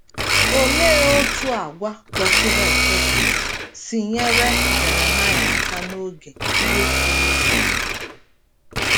Olee otú àgwà kwesịrị ekwesị si nyere Jeremaịa aka n’oge ihe siri ike?